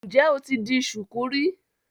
Ǹ jẹ́ o ti di ṣùkú rí?